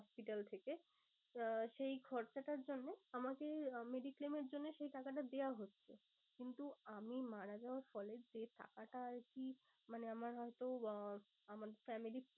Hospital থেকে। আহ সেই খরচাটার জন্যে আমাকে mediclaim এর জন্যে এই টাকাটা দেওয়া হচ্ছে। কিন্তু আমি মারা যাওয়ার ফলে যে টাকাটা আর কি মানে আমার হয়তো আহ আমার family র